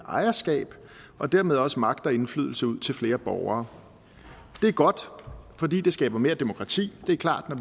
ejerskab og dermed også magt og indflydelse ud til flere borgere det er godt fordi det skaber mere demokrati det er klart at